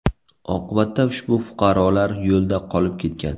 Oqibatda ushbu fuqarolar yo‘lda qolib ketgan.